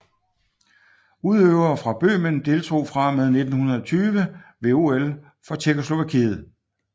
Udøvere fra Bøhmen deltog fra og med 1920 ved OL for Tjekkoslovakiet